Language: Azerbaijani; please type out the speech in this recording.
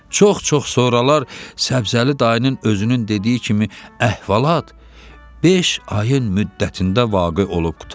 Çox-çok sonralar Səbzəli dayının özünün dediyi kimi əhvalat beş ayın müddətində vaqe olub qurtardı.